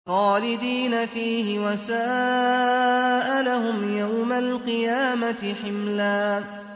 خَالِدِينَ فِيهِ ۖ وَسَاءَ لَهُمْ يَوْمَ الْقِيَامَةِ حِمْلًا